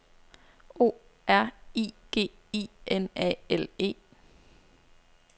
O R I G I N A L E